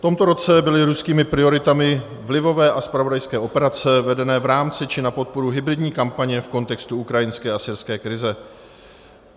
V tomto roce byly ruskými prioritami vlivové a zpravodajské operace vedené v rámci či na podporu hybridní kampaně v kontextu ukrajinské a syrské krize.